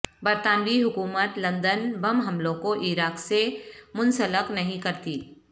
برطانوی حکومت لندن بم حملوں کو عراق سے منسلک نہیں کرتی